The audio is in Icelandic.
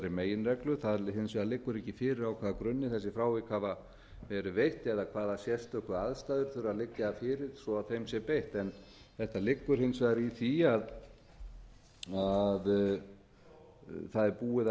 meginreglu það hins vegar liggur ekki fyrir á hvaða grunni þessi frávik hafa verið veitt eða hvaða sérstöku aðstæður þurfa að liggja fyrir svo þeim sé beitt þetta liggur hins vegar í því að það er búið að